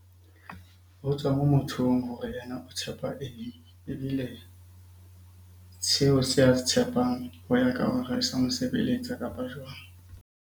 Ho tswa moo mothong hore yena o tshepa eng? Ebile seo se a se tshepang ho ya ka hore sa mo sebeletsa kapa jwang?